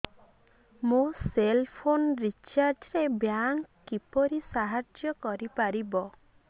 ମୋ cell phone recharge ରେ bank କିପରି ସାହାଯ୍ୟ କରିପାରିବ